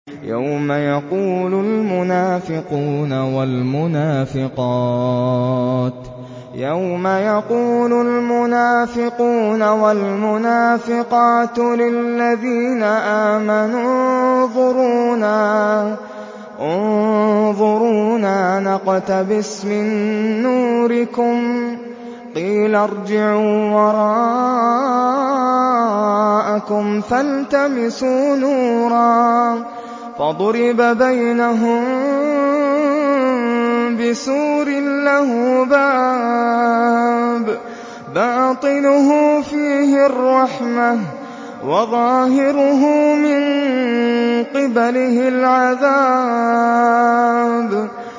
يَوْمَ يَقُولُ الْمُنَافِقُونَ وَالْمُنَافِقَاتُ لِلَّذِينَ آمَنُوا انظُرُونَا نَقْتَبِسْ مِن نُّورِكُمْ قِيلَ ارْجِعُوا وَرَاءَكُمْ فَالْتَمِسُوا نُورًا فَضُرِبَ بَيْنَهُم بِسُورٍ لَّهُ بَابٌ بَاطِنُهُ فِيهِ الرَّحْمَةُ وَظَاهِرُهُ مِن قِبَلِهِ الْعَذَابُ